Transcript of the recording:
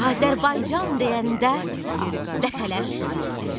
Azərbaycan deyəndə ləpələr şairləşir.